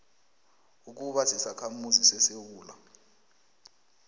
ukuba sisakhamuzi sesewula